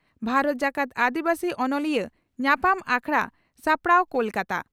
ᱵᱷᱟᱨᱚᱛ ᱡᱟᱠᱟᱛ ᱟᱹᱫᱤᱵᱟᱹᱥᱤ ᱚᱱᱚᱞᱤᱭᱟᱹ ᱧᱟᱯᱟᱢ ᱟᱠᱷᱲᱟ ᱥᱟᱯᱲᱟᱣ ᱠᱚᱞᱠᱟᱛᱟ